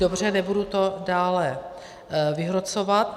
Dobře, nebudu to dále vyhrocovat.